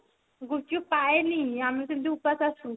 ଗୁପ୍ଚୁପ ପାଏନି ଆମେ ସେମତି ଉପାସ ରେ ଆସୁ